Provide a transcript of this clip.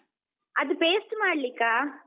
ಅದ್ ಪೇಸ್ಟ್ ಮಾಡ್ಲಿಕ್ಕಾ?